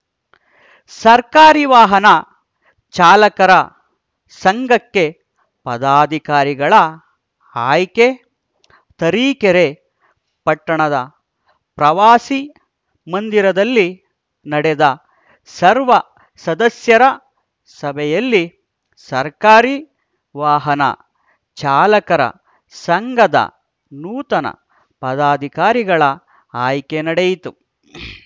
ಸರ್ಕಾರಿ ವಾಹನ ಚಾಲಕರ ಸಂಘಕ್ಕೆ ಪದಾಧಿಕಾರಿಗಳ ಆಯ್ಕೆ ತರೀಕೆರೆ ಪಟ್ಟಣದ ಪ್ರವಾಸಿ ಮಂದಿರದಲ್ಲಿ ನಡೆದ ಸರ್ವ ಸದಸ್ಯರ ಸಭೆಯಲ್ಲಿ ಸರ್ಕಾರಿ ವಾಹನ ಚಾಲಕರ ಸಂಘದ ನೂತನ ಪದಾಧಿಕಾರಿಗಳ ಆಯ್ಕೆ ನಡೆಯಿತು